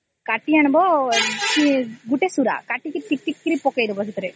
କାଟି ଆଣିବା ଗୋଟେ ସୁରା ଟା କାଟିକି ଟିକ ଟିକ କରି ପକେଇଦେବ ସେଥିରେ